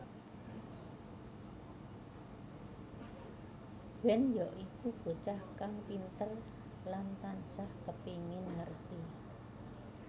Ben ya iku bocah kang pinter lan tansah kepengin ngerti